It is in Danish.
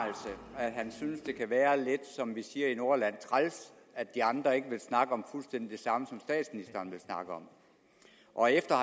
han synes det kan være lidt som vi siger i nordjylland træls at de andre ikke vil snakke om fuldstændig det samme som statsministeren vil snakke om og efter